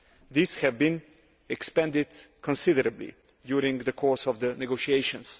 These have been expanded considerably during the course of the negotiations.